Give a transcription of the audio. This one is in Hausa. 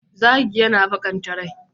Zagi yana baƙanta rai.